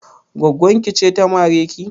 Gwaggon ki ce ta mare ki?